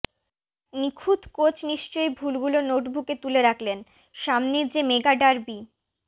নিখুঁত কোচ নিশ্চয় ভুলগুলো নোটবুকে তুলে রাখলেন সামনেই যে মেগা ডার্বি